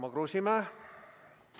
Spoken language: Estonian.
Tarmo Kruusimäe!